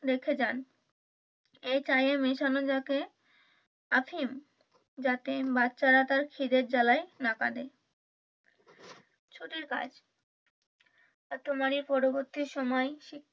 রেখে যান এই চায়ে মিশানো থাকে আফিম যাতে বাচ্চারা তার খিদের জ্বালায় না কাঁদে ছুটির কাজ এত মানে পরবর্তী সময়